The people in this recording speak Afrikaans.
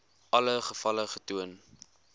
alle gevalle getoon